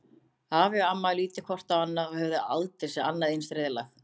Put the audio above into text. Afi og amma litu hvort á annað og höfðu aldrei séð annað eins reiðlag.